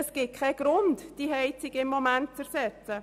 Gegenwärtig gibt es keinen Grund, die Heizung zu ersetzen.